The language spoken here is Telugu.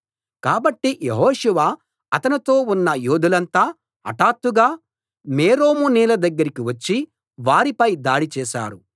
కాబట్టి యెహోషువ అతనితో ఉన్న యోధులంతా హఠాత్తుగా మేరోము నీళ్ల దగ్గరికి వచ్చి వారిపై దాడి చేశారు